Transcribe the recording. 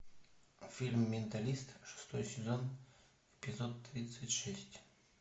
фильм менталист шестой сезон эпизод тридцать шесть